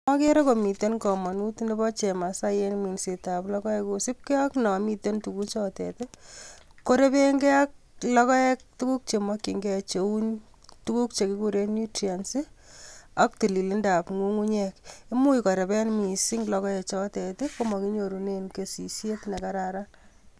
Agere komiten kamanut nebo chemsai en minsetab logoek kosipke ak nomiten tuguchetet, korepenge ak logoek tuguk che makyinge cheu tuguk che kigiren nutrients, ak tililindab ngungunyek. Imuch korepen mising logoek chotet ii, komaginyorunen kesyet ne kararan.